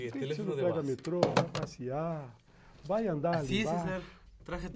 Por que você não pega metrô, vai passear, vai andar ali embaixo?